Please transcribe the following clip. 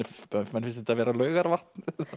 finnst þetta vera Laugarvatn